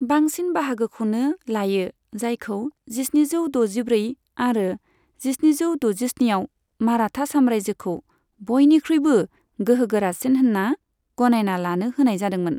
बांसिन बाहागोखौनो लायो, जायखौ जिस्निजौ द'जिब्रै आरो जिस्निजौ द'जिस्निआव माराठा साम्रायजोखौ बयनिख्रुइबो गोहो गोरासिन होनना गनायना लानो होनाय जादोंमोन।